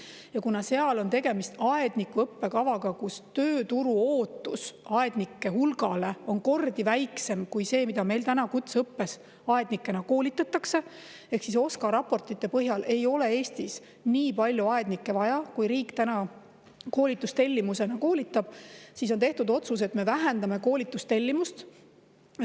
Ja kuna seal on tegemist aedniku õppekavaga ja tööturu ootus aednike hulga osas on kordi väiksem kui see, mida meil kutseõppes aednikena koolitatakse, ehk OSKA raportite põhjal ei ole Eestis nii palju aednikke vaja, kui riik praegu koolitustellimusena koolitada laseb, siis on tehtud otsus, et me vähendame koolitustellimust.